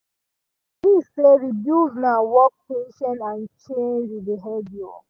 say rebuild na work patience and change behavior.